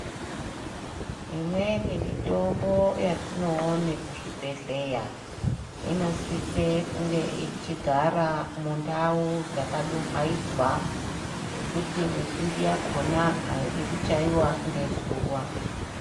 Imweni mitombo yatinoone kuzvibhedhleya, inosise kunge ichigara mundau dzakadumhayidzwa, ngekuti mizhinji yakona ayidi kuchayiwa ngezuwa.